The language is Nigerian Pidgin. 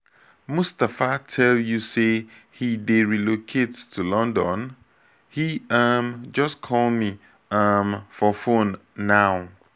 mustapha tell you say he dey relocate to london? he um just call me um for phone now